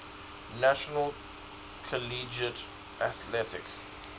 national collegiate athletic